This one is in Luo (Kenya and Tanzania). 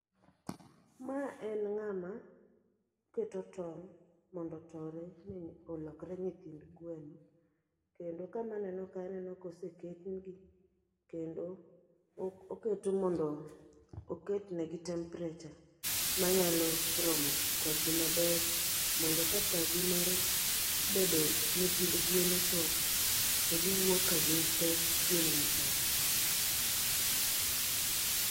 Ma en ng'ama keto tong' mondo otore ne olokre nyithind gweno. Kendo kama aneno ka aneno koseketnegi. Kendo ok oket mondo oketnegi temperature manyalo romo kodgi maber. Mondo ka sagi mar bedo nyithind gwen ochopo, to giwuok ka gin te gi makare.